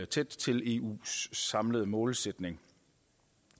tæt til eus samlede målsætning